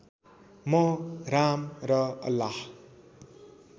म राम र अल्लाह